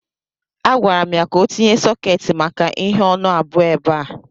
A gwara m ya ka o tinye sọketi maka ihe ọnụ abụọ ebe a.